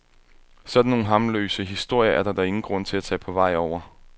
Sådan nogle harmløse historier er der da ingen grund til at tage på vej over.